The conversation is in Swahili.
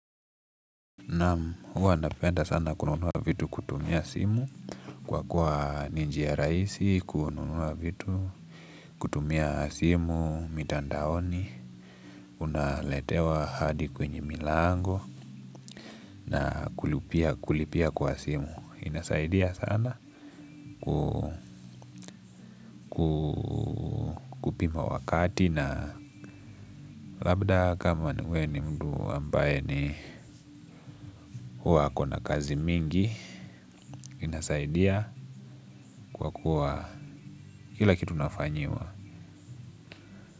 Naam, huwa napenda sana kununua vitu kutumia simu. Kwa kuwa ni njia rahisi, kununua vitu. Kutumia simu, mitandaoni unaletewa hadi kwenye milango. Na kulipia kwa simu. Inasaidia sana kupima wakati. Na labda kama we ni mtu ambaye ni huwa ako na kazi mingi. Inasaidia kwa kuwa kila kitu nafanyiwa.